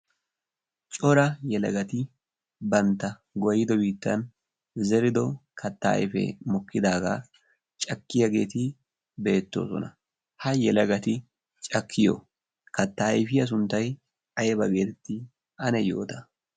cora yelagati bantta goyido biittan zerido katta ayfee mokkidaagaa cakkiyaageeti beettoosona ha yelagati cakkiyo katta ayfiya sunttay ayba geeetti ane yoota